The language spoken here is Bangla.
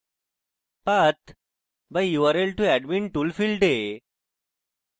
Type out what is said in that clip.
path/url to admin tool: ফীল্ডে